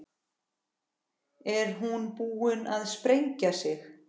Er hún búin að sprengja sig?